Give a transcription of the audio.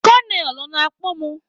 Konel, ọ na-akpọ mụ?